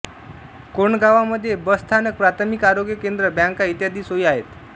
कोंडगावामध्ये bus स्थानक प्राथमिक आरोग्यकेंद्र बँका इत्यादी सोयी आहेत